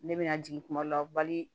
Ne bɛna jigin kuma dɔ la